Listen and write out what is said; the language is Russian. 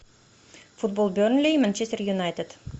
футбол бернли и манчестер юнайтед